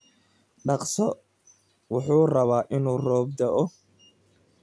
Dhaqso wuxuu rabaa inuu roob da'o.